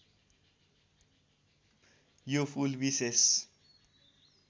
यो फूल विशेष